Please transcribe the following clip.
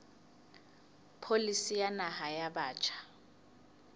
pholisi ya naha ya batjha